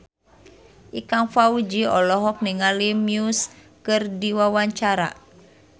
Ikang Fawzi olohok ningali Muse keur diwawancara